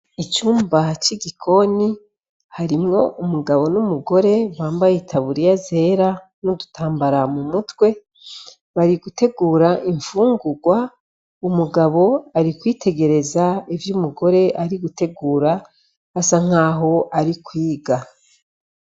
Icumbahacoigikoni harimwo umugabo ni'umugore bambaye itaburiya zera n'udutambara mu mutwe bari gutegura imfungurwa umugabo ari kwitegereza ivyo umugore ari gutegura asa nk'aho ari kwiga.